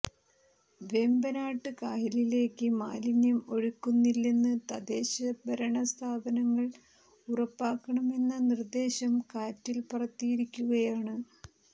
വേമ്പനാട് കായലിലേക്ക് മാലിന്യം ഒഴുക്കുന്നില്ലെന്ന് തദ്ദേശഭരണസ്ഥാപനങ്ങൾ ഉറപ്പാക്കണമെന്ന നിർദേശം കാറ്റിൽ പറത്തിയിരിക്കുകയാണ്